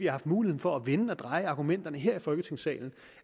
haft muligheden for at vende og dreje argumenterne her i folketingssalen